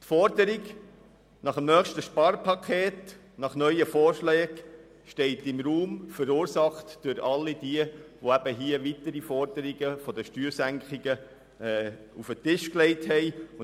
Die Forderung nach einem weiteren Sparpaket und weiteren Vorschlägen steht im Raum, verursacht durch all jene, die hier weitere Forderungen nach Steuersenkungen auf den Tisch gelegt haben.